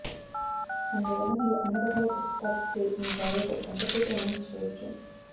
అందువల్ల మీరు అన్ని రకాల ట్రిక్స్ పాటిస్తే మీ భార్యతో గంటసేపు రొమాన్స్ చేయొచ్చు